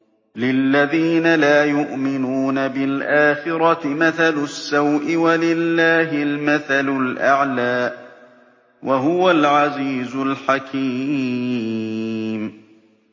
لِلَّذِينَ لَا يُؤْمِنُونَ بِالْآخِرَةِ مَثَلُ السَّوْءِ ۖ وَلِلَّهِ الْمَثَلُ الْأَعْلَىٰ ۚ وَهُوَ الْعَزِيزُ الْحَكِيمُ